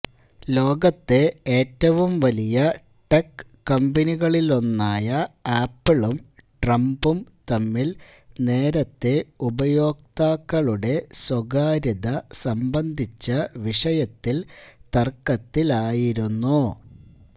ലോകത്തെ ഏറ്റവും വലിയ ടെക് കമ്പനികളിലൊന്നായ ആപ്പിളും ട്രംപും തമ്മില് നേരത്തെ ഉപയോക്താക്കളുടെ സ്വകാര്യത സംബന്ധിച്ച വിഷയത്തില് തര്ക്കത്തിലായിരുന്നു